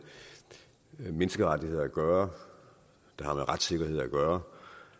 menneskerettigheder at gøre der har med retssikkerhed at gøre